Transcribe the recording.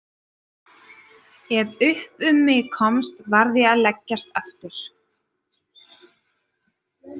Ef upp um mig komst varð ég að leggjast aftur.